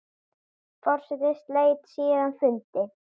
Forseti sleit síðan fundi.